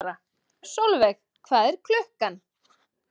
Solveig, hvað er klukkan?